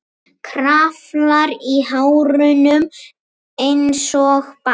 Kraflar í hárunum einsog barn.